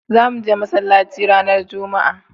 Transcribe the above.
za muje masallaci ranar jumma'a